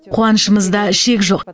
қуанышымызда шек жоқ